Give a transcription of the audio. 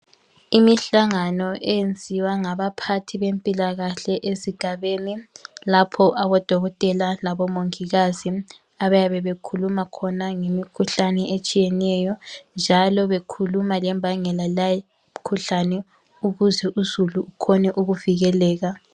Imihlangano eyenziwa ngabaphathi bempilakahle ezigabeni lapho odokotela labomongikazi abayabe bekhuluma khona ngemikhuhlane etshiyeneyo njalo bekhuluma lembangela yaleyi mikhuhlane ukuze uzulu ukhone ukuvikeleka.